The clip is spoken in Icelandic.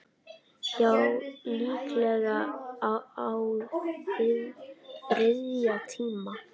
Já, líklega á þriðja tíma.